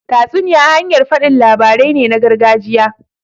Tatsuniya hanyar faɗin labarai ne na gargajiya.